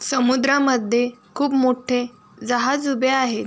समुद्रामध्ये खूप मोठे जहाज उभे आहे.